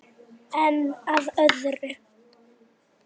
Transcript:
Giftur? spurði hann.